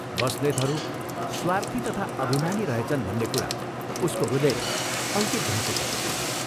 बस्नेतहरू स्वार्थी तथा अभिमानी रहेछन् भन्ने कुरा उसको हृदयमा अंकित भइसकेको थियो।